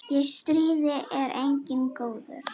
Í stríði er enginn góður.